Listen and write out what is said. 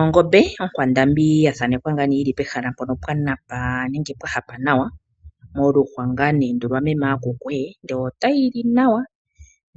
Ongombe okwandambi yili pehala pwanapa nawa nenge pwa hapa nawa, moluhwa lwaMeme aku kwe tayi li nawa